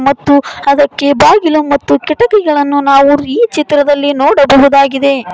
ಮತ್ತು ಅದಕ್ಕೆ ಬಾಗಿಲು ಮತ್ತು ಕಿಟಕಿಗಳನ್ನು ನಾವು ಈ ಚಿತ್ರದಲ್ಲಿ ನೋಡಬಹುದಾಗಿದೆ.